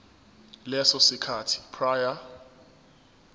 leso sikhathi prior